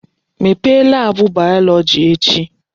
Mepee laabụ bayọlọji echi!